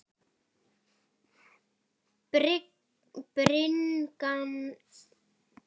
Bringan sneri að hafi.